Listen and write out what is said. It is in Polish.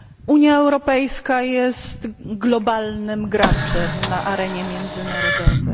Unia Europejska jest globalnym graczem na arenie międzynarodowej.